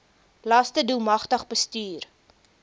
laste doelmatig bestuur